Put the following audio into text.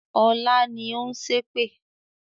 Ọlá ni ó ń ṣépè